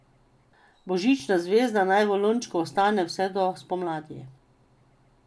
Božična zvezda naj v lončku ostane vse do spomladi.